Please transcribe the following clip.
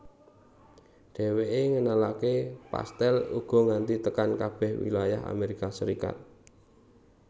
Dhéwéké ngenalaké pastèl uga nganti tekan kabeh wilayah Amérika Serikat